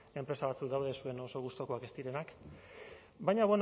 enpresa batzuk daude zuen oso gustukoak ez direnak baina